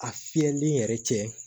A fiyɛli yɛrɛ cɛ